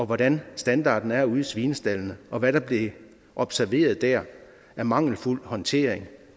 hvordan standarden er ude i svinestaldene og hvad der bliver observeret dér af mangelfuld håndtering